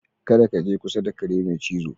Kada kaje kusa da kare mai cizo.